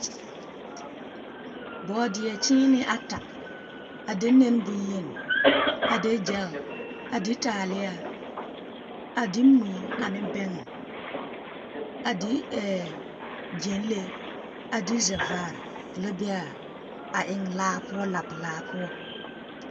Bɔɔdeɛ kyeene ata a de nɛne boŋyeni, a de gyɛl, a de taaleɛ, a de mui ane bɛŋɛ, a de ɛɛ… a de gyɛnlee, la be a… a eŋ laa poɔ, laapelaa poɔ.